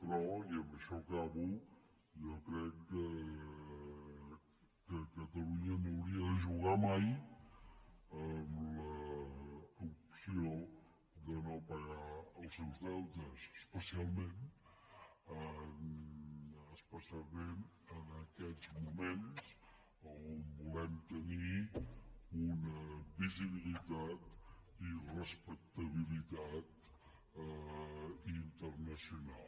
però i amb això acabo jo crec que catalunya no hauria de jugar mai amb l’opció de no pagar els seus deutes especialment en aquests moments en què volem tenir una visibilitat i respectabilitat internacional